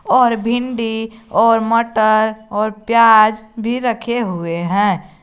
और भिंडी और मटर और प्याज भी रखे हुए हैं।